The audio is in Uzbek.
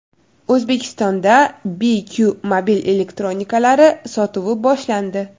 O‘zbekistonda BQ mobil elektronikalari sotuvi boshlandi!.